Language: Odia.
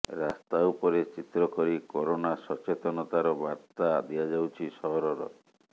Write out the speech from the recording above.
ରାସ୍ତା ଉପରେ ଚିତ୍ର କରି କରୋନା ସଚେତନତାର ବାର୍ତ୍ତା ଦିଆଯାଉଛି ସହରର